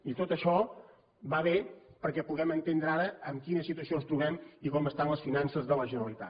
i tot això va bé perquè puguem entendre ara en quina situació ens trobem i com estan les finances de la generalitat